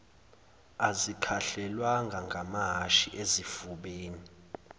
azikhahlelwanga ngamahhashi ezifubeni